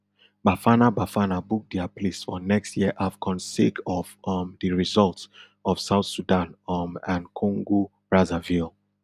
bafana bafana book dia place for next year afcon sake of um di result of south sudan um and congobrazzaville